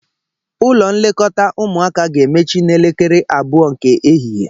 Ụlọ nlekọta ụmụaka ga-emechi n'elekere abụọ nke ehihe